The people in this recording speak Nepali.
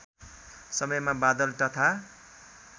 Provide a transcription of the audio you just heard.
समयमा बादल तथा